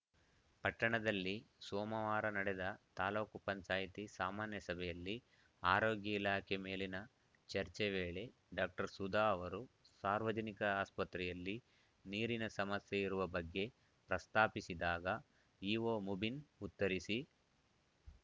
ಪಟ್ಟಣದಲ್ಲಿ ಸೋಮವಾರ ನಡೆದ ತಾಲೂಕು ಪಂಚಾಯ್ತಿ ಸಾಮಾನ್ಯ ಸಭೆಯಲ್ಲಿ ಆರೋಗ್ಯ ಇಲಾಖೆ ಮೇಲಿನ ಚರ್ಚೆ ವೇಳೆ ಡಾಕ್ಟರ್ ಸುಧಾ ಅವರು ಸಾರ್ವಜನಿಕ ಆಸ್ಪತ್ರೆಯಲ್ಲಿ ನೀರಿನ ಸಮಸ್ಯೆ ಇರುವ ಬಗ್ಗೆ ಪ್ರಸ್ತಾಪಿಸಿದಾಗ ಇಒ ಮುಬಿನ್‌ ಉತ್ತರಿಸಿ